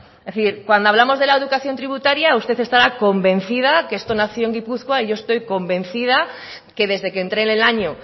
es decir cuando hablamos de la educación tributaria usted estará convencida que esto nació en gipuzkoa y yo estoy convencida que desde que entre en el año